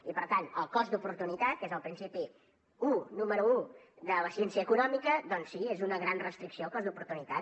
i per tant el cost d’oportunitat que és el principi un número un de la ciència econòmica doncs sí és una gran restricció el cost d’oportunitat